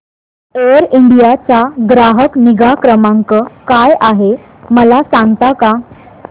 air India चा ग्राहक निगा क्रमांक काय आहे मला सांगता का